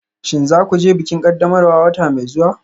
Shin za ku je bikin ƙaddamarwa wata mai zuwa?